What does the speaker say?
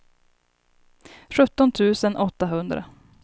sjutton tusen åttahundra